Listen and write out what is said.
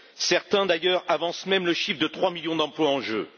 Certains, d'ailleurs, avancent même le chiffre de trois millions d'emplois en jeu.